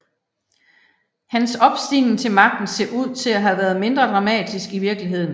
Hans opstigning til magten ser ud til at have været mindre dramatisk i virkeligheden